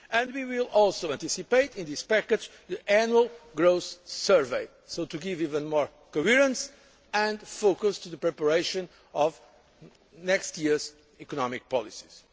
We will also anticipate, in this package, the Annual Growth Survey, to give even more coherence and focus to the preparation of next year's economic policies.